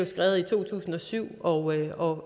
skrevet i to tusind og syv og